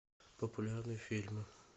популярные фильмы